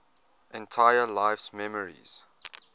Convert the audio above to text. entire life's memories